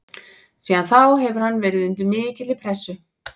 Síðan þá hefur hann verið undir mikilli pressu.